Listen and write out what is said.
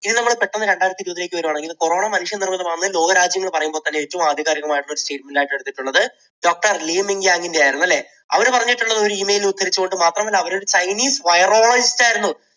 ഇനി നമ്മൾ പെട്ടെന്ന് രണ്ടായിരത്തിഇരുപത്തിലേയ്ക്ക് വരികയാണെങ്കിൽ corona മനുഷ്യനിർമ്മിതമാണെന്ന് ലോകരാജ്യങ്ങൾ പറയുമ്പോൾ തന്നെ ഏറ്റവും ആധികാരികമായിട്ട് എടുത്തിട്ടുള്ളത് doctor ലീ മിങ് യാങ്ങിനെ ആയിരുന്നു അല്ലേ? അവര് പറഞ്ഞത് ഒരു Email ഉദ്ധരിച്ചുകൊണ്ട് മാത്രമല്ല അവർ ഒരു ചൈനീസ് virologist ആയിരുന്നു.